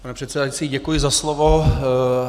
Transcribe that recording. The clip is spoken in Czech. Pane předsedající, děkuji za slovo.